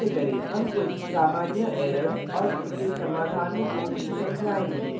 इसे निष्पादित कैसे करें how कुछ सामान्य errors और उनके समाधानों को भी समझायेंगे